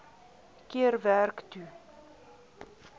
keer werk toe